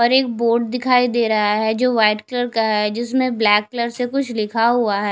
और एक बोर्ड दिखाई दे रहा है जो व्हाइट कलर का है जिसमें ब्लैक कलर से कुछ लिखा हुआ है।